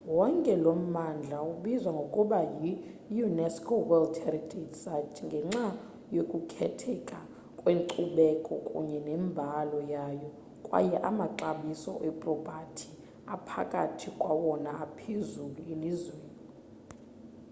wonke lo mmandla ubizwa ngokuba yi-unesco world heritage site ngenxa yokukhetheka kwenkcubeko kunye nembali yayo kwaye amaxabiso epropathi aphakathi kwawona aphezulu elizweni